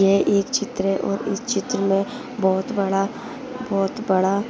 यह एक चित्र हैं और इस चित्र में बहुत बड़ा बहुत बड़ा--